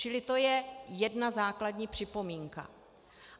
Čili to je jedna základní připomínka.